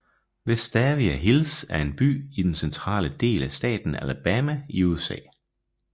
Vestavia Hills er en by i den centrale del af staten Alabama i USA